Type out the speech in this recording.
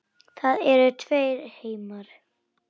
Það eru tveir heimar.